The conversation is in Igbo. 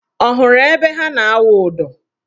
Ọ hụrụ ebe ha na-awụ ụdọ?